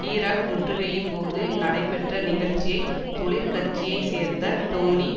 Iraq முற்றுகையின்போது நடைபெற்ற நிகழ்ச்சியை தொழிற்கட்சியை சேர்ந்த டோனி